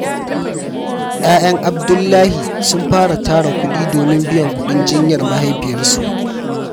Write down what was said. Ƴaƴan Abdullahi sun fara tara kudi domin biyan kuɗin jinyar mahaifiyarsu.